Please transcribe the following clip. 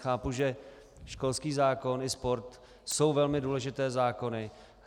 Chápu, že školský zákon i sport jsou velmi důležité zákony.